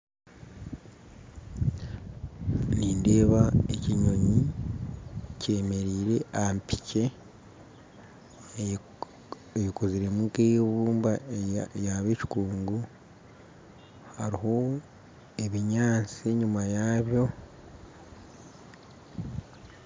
Nindeeba ekinyonyi kyemerire ahampikye, eyekokoziremu nk'eibumba, yaaba ekikungu hariho ebinyaatsi enyima yabyo,